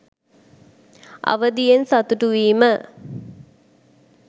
අවදියෙන් සතුටු වීම